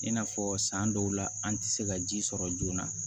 I n'a fɔ san dɔw la an tɛ se ka ji sɔrɔ joona